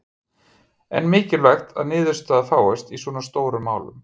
En mikilvægt að niðurstaða fáist í svona stórum málum?